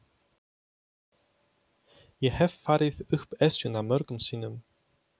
Ég hef farið upp Esjuna mörgum sinnum.